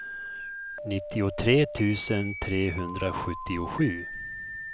nittiotre tusen trehundrasjuttiosju